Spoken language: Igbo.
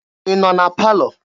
Ị nọ na palọ?